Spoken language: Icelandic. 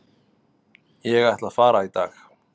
Ég ætla að fara í dag.